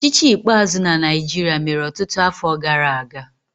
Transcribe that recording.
Ọchịchị ikpeazụ na Naịjirịa mere ọtụtụ afọ gara aga.